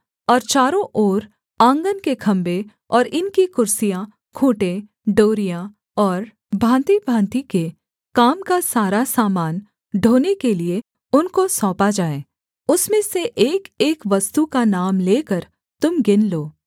और चारों ओर आँगन के खम्भे और इनकी कुर्सियाँ खूँटे डोरियाँ और भाँतिभाँति के काम का सारा सामान ढोने के लिये उनको सौंपा जाए उसमें से एकएक वस्तु का नाम लेकर तुम गिन लो